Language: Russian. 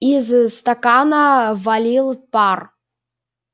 из-за стакана валил пар